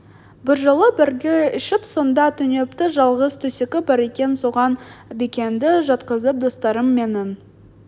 бір жолы бірге ішіп сонда түнепті жалғыз төсегі бар екен соған бекенді жатқызып достарым менің